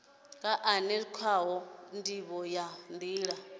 une khawo ndivho ya nila